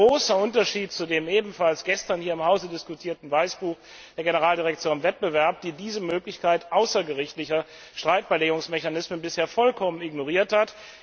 Das ist ein großer Unterschied zu dem ebenfalls gestern hier im Haus diskutierten Weißbuch der Generaldirektion Wettbewerb, die diese Möglichkeit außergerichtlicher Streitbeilegungsmechanismen bisher vollkommen ignoriert hat.